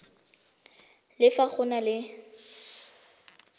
le fa go na le